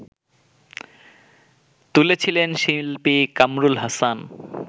তুলেছিলেন শিল্পী কামরুল হাসান